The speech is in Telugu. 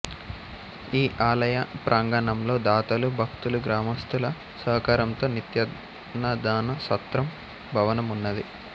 ఈ ఆలయ ప్రాంగణంలో దాతలు భక్తులుగ్రామస్థుల సహకారంతో నిత్యాన్నదాన సత్రం భవనం ఉన్నది